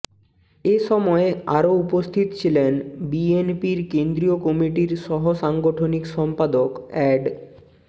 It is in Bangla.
এ সময় আরো উপস্থিত ছিলেন বিএনপির কেন্দ্রীয় কমিটির সহ সাংগঠনিক সম্পাদক অ্যাড